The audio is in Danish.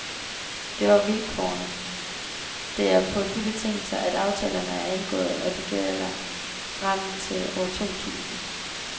Det var vilkårene, det er på de betingelser, at aftalerne er indgået, og de gælder frem til år to tusind.